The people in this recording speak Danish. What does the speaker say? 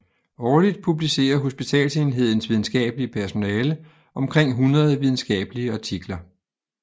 Årligt publicerer hospitalsenhedens videnskabelige personale omkring 100 videnskabelige artikler